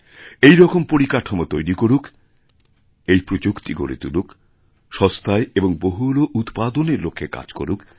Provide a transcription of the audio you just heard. এইরকম পরিকাঠামো তৈরি করুক এই প্রযুক্তি গড়ে তুলুক সস্তায়এর বহুল উৎপাদনের লক্ষ্যে কাজ করুক